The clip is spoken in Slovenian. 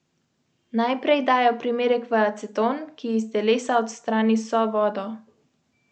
Si v enem kosu?